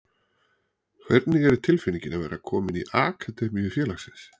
Hvernig er tilfinningin að vera kominn í akademíu félagsins?